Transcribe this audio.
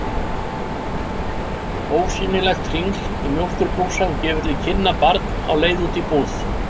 Ósýnilegt hringl í mjólkurbrúsa gefur til kynna barn á leið út í búð.